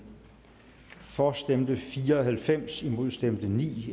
for stemte fire og halvfems imod stemte ni